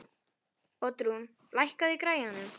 Oddrún, lækkaðu í græjunum.